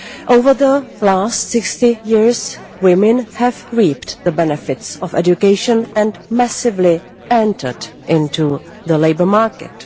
Over the last 60 years, women have reaped the benefits of education and massively entered into the labour market.